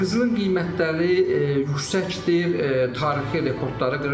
Qızılın qiymətləri yüksəkdir, tarixi rekordları qırır.